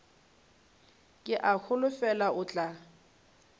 ke a holofela o tla